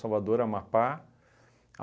Amapá.